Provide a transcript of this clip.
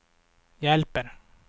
hjälper